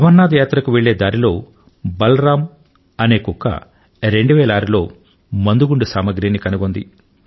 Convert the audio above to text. అమరనాథ్ యాత్రకు వెళ్లే దారిలో బలరామ్ అనే కుక్క 2006 లో మందుగుండు సామగ్రిని కనుగొంది